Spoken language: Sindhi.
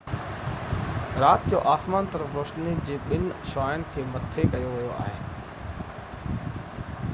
رات جو آسمان طرف روشني جي ٻن شعاعن کي مٿي ڪيو ويو آهي